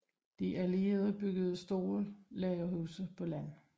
De allierede byggede store lagerhuse på land